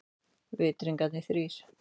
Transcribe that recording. Vitringarnir þrír.